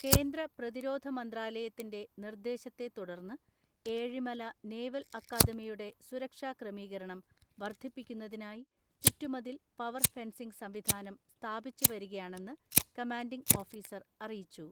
കേന്ദ്ര പ്രതിരോധ മന്ത്രാലയത്തിന്റെ നിർദ്ദേശത്തെ തുടർന്ന് ഏഴിമല നേവൽ അക്കാദമിയുടെ സുരക്ഷാക്രമീകരണം വർദ്ധിപ്പിക്കുന്നതിനായി ചുറ്റുമതിൽ പവർ ഫെൻസിങ് സംവിധാനം സ്ഥാപിച്ചു വരികയാണെന്ന് കമാൻഡിങ് ഓഫീസർ അറിയിച്ചു